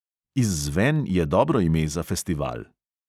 Izzven je dobro ime za festival.